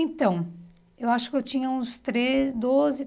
Então, eu acho que eu tinha uns treze, doze